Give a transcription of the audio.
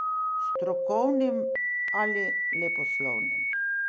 Strokovnim ali leposlovnim.